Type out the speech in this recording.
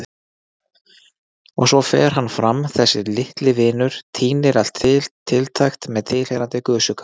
Og svo fer hann fram, þessi litli vinur, tínir til allt tiltækt með tilheyrandi gusugangi.